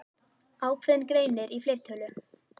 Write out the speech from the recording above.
Ákveðinn greinir í fleirtölu.